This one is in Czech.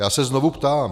Já se znovu ptám: